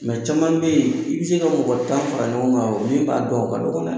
Mɛ caman bɛ yen , i bɛ se ka mɔgɔ tan fara ɲɔgɔn kan min b'a dɔn o ka dɔgɔ dɛ!